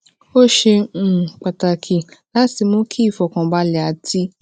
ó ṣe um pàtàkì láti mú kí ìfọkànbalẹ àti